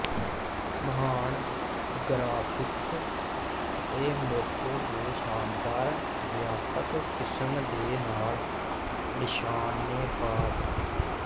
ਮਹਾਨ ਗਰਾਫਿਕਸ ਅਤੇ ਮੌਕੇ ਦੇ ਸ਼ਾਨਦਾਰ ਵਿਆਪਕ ਕਿਸਮ ਦੇ ਨਾਲ ਨਿਸ਼ਾਨੇਬਾਜ਼